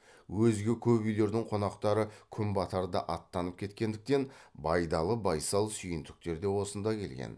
өзге көп үйлердің қонақтары күн батарда аттанып кеткендіктен байдалы байсал сүйіндіктер де осында келген